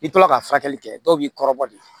I tora ka furakɛli kɛ dɔw b'i kɔrɔbɔ de